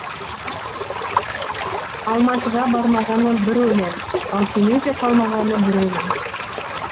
алматыға бармағаны бір өлең ал семейде қалмағаны бір өлең